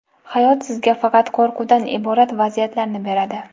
hayot sizga faqat qo‘rquvdan iborat vaziyatlarni beradi.